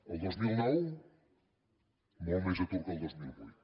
el dos mil nou molt més atur que el dos mil vuit